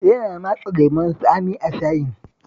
Yana matsa lemon tsami a shayin